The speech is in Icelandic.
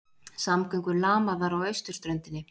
Samgöngur lamaðar á austurströndinni